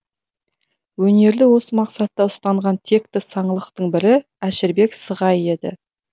өнерді осы мақсатта ұстанған текті саңлақтың бірі әшірбек сығай еді